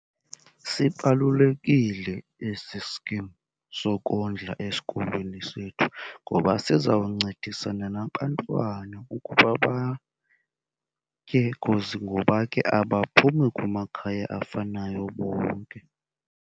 Sibalulekile esi skim sokondla esikolweni sethu ngoba sizawuncedisana nabantwana ukuba batye because ngoba ke abaphumi kumakhaya afanayo bonke.